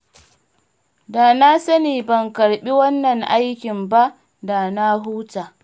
Da na sani ban karɓi wannan aikin ba da na huta